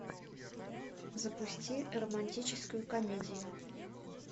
запусти романтическую комедию